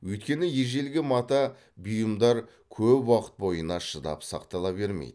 өйткені ежелгі мата бұйымдар көп уақыт бойына шыдап сақтала бермейді